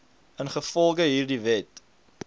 ingevolge hierdie wet